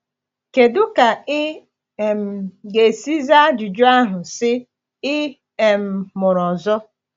Kedu ka ị um ga-esi zaa ajụjụ ahụ sị, “Ị um mụrụ ọzọ?”